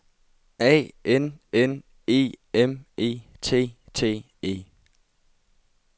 A N N E M E T T E